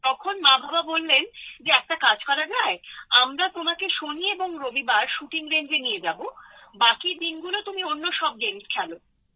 তখন মা বাবা বললেন যে একটা কাজ করা যায় আমরা তোমাকে শনি ও রবিবার শুটিং রেঞ্জে নিয়ে যাবো বাকি দিনগুলো তুমি অন্য সব গেমস খেলো